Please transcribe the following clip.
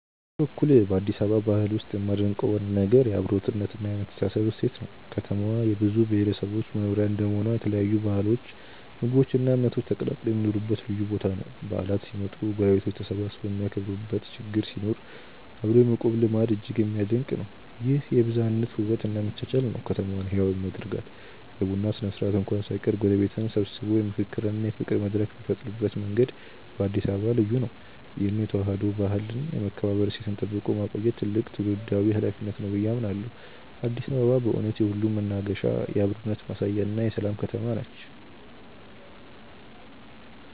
በኔ በኩል በአዲስ አበባ ባህል ውስጥ የማደንቀው ዋና ነገር የአብሮነትና የመተሳሰብ እሴት ነው። ከተማዋ የብዙ ብሔረሰቦች መኖሪያ እንደመሆኗ የተለያዩ ባህሎች ምግቦች እና እምነቶች ተቀላቅለው የሚኖሩበት ልዩ ቦታ ነው። በዓላት ሲመጡ ጎረቤቶች ተሰባስበው የሚያከብሩበት ችግር ሲኖር አብሮ የመቆም ልማድ እጅግ የሚደነቅ ነው። ይህ የብዝሃነት ውበት እና መቻቻል ነው ከተማዋን ህያው የሚያደርጋት። የቡና ስነ-ስርዓት እንኳን ሳይቀር ጎረቤትን ሰብስቦ የምክክርና የፍቅር መድረክ የሚፈጥርበት መንገድ በአዲስ አበባ ልዩ ነው። ይህን የተዋህዶ ባህልና የመከባበር እሴት ጠብቆ ማቆየት ትልቅ ትውልዳዊ ኃላፊነት ነው ብዬ አምናለሁ። አዲስ አበባ በእውነት የሁሉም መናገሻ፣ የአብሮነት ማሳያና የሰላም ከተማ ነች።